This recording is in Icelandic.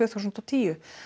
þúsund og tíu